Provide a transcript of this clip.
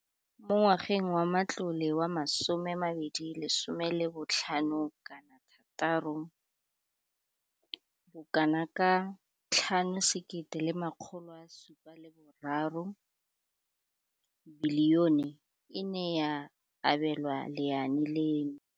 Mo ngwageng wa matlole wa 2015 le 16, bokanaka R5 703 bilione e ne ya abelwa lenaane leno.